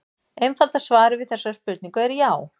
Einfalda svarið við þessari spurningu er já.